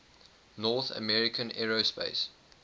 north american aerospace